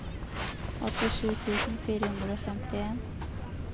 åttisju tusen fire hundre og femtien